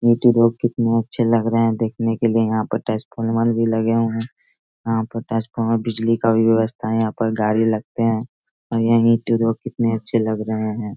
Road कितने अच्छे लग रहे है। देखने के लिए यहाँ पे ट्रांसफॉर्मर भी लगे है। यहाँ पे ट्रांसफॉर्मर बिजली का भी व्यवस्था यहाँ पर गाड़ी लगते है और यही के रोड कितने अच्छे लग रहे है।